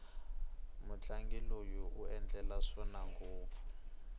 mutlangi loyi u endla swona ngopfu